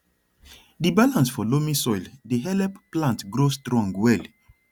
di balance for loamy soil dey help plant grow strong well